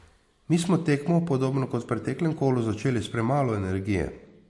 Mi smo tekmo, podobno kot v preteklem kolu, začeli s premalo energije.